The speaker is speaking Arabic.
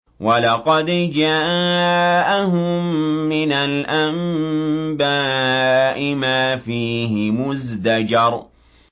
وَلَقَدْ جَاءَهُم مِّنَ الْأَنبَاءِ مَا فِيهِ مُزْدَجَرٌ